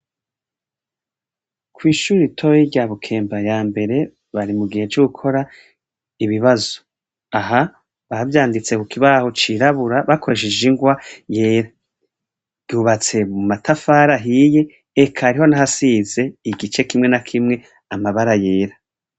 Kw'ishure ritoyi rya Bukemba yambere, bari mu gihe co gukora ibibazo. Aha bavyanditse ku kibaho cirabura, bakoresheje ingwa yera. Ryubatse mu matafari ahiye, eka hariho n'ahasize igice kimwe na kimwe, amabara yera.